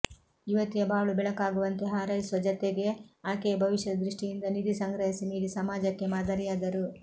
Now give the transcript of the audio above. ಯುವತಿಯ ಬಾಳು ಬೆಳಕಾಗುವಂತೆ ಹಾರೈಸುವ ಜತೆಗೆ ಆಕೆಯ ಭವಿಷ್ಯದ ದೃಷ್ಟಿಯಿಂದ ನಿಧಿ ಸಂಗ್ರಹಿಸಿ ನೀಡಿ ಸಮಾಜಕ್ಕೆ ಮಾದರಿಯಾದರು